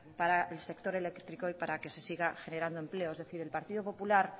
para el sector eléctrico y para que se siga generando empleo es decir el partido popular